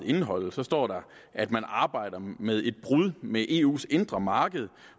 indeholde så står der at man arbejder med et brud med eus indre marked